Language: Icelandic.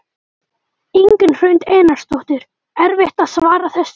Ingunn Hrund Einarsdóttir: Erfitt að svara þessu?